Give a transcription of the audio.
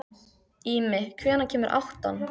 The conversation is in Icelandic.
Ími, hvenær kemur áttan?